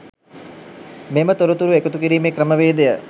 මෙම තොරතුරු එකතු කිරීමේ ක්‍රමවේදය